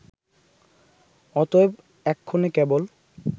অতএব এক্ষণে কেবল